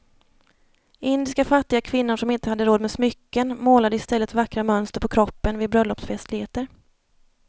Indiska fattiga kvinnor som inte hade råd med smycken målade i stället vackra mönster på kroppen vid bröllopsfestligheter.